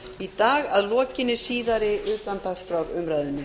í dag að lokinni síðari utandagskrárumræðu